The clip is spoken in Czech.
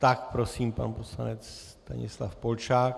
Tak prosím, pan poslanec Stanislav Polčák.